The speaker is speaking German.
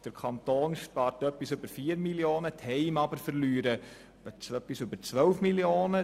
Der Kanton spart also etwas über 4 Mio. Franken, die Heime verlieren aber etwas über 12 Mio. Franken.